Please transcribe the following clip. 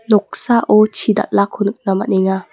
noksao chi dal·ako nikna man·enga.